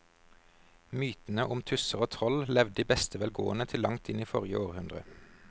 Mytene om tusser og troll levde i beste velgående til langt inn i forrige århundre.